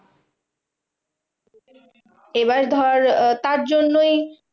এবার ধর আহ তার জন্যই